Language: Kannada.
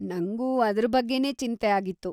ನಂಗೂ ಅದ್ರ ಬಗ್ಗೆನೇ ಚಿಂತೆ ಆಗಿತ್ತು.